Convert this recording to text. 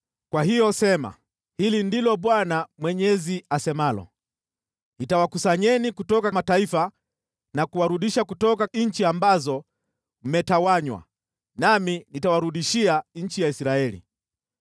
“Kwa hiyo sema: ‘Hili ndilo Bwana Mwenyezi asemalo: Nitawakusanyeni kutoka mataifa na kuwarudisha kutoka nchi ambazo mmetawanywa, nami nitawarudishia nchi ya Israeli.’